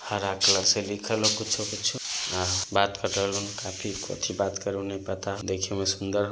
-- हरा कलर से लिखाल है कुछ-कुछ बत कर रहे है लोग कथी बत कर रहे है नही पता देखें मैं सुंदर--